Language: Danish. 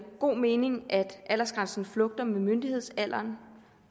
god mening at aldersgrænsen flugter med myndighedsalderen